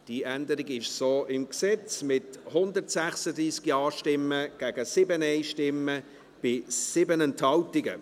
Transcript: Diese Änderung ist so im Gesetz, mit 136 Ja- gegen 7 Nein-Stimmen und 7 Enthaltungen.